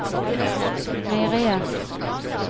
meieriet